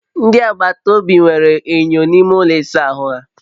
Ndị agbata obi nwere enyo n'ime ụlọ ịsa ahụ ha